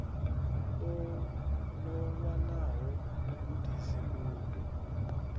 o no wanaho vhugudisi uvho